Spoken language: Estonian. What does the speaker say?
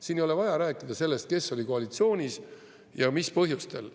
Siin ei ole vaja rääkida sellest, kes oli koalitsioonis ja mis põhjustel.